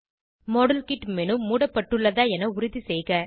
model kit menu மூடப்பட்டுள்ளதா என உறுதி செய்க